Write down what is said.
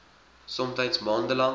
somtyds maande lank